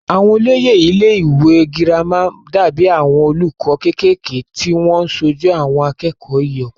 àwọn olóyè ilé ìwé girama dàbí àwọn olùkọ́ kékèké tí wọ́n sojú àwọn akẹ́kọ̀ọ́ ìyókù